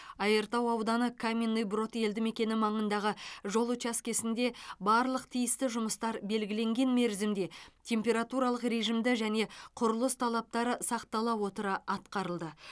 айыртау ауданы каменный брод елді мекені маңындағы жол учаскесінде барлық тиісті жұмыстар белгіленген мерзімде температуралық режимді және құрылыс талаптары сақтала отыра атқарылды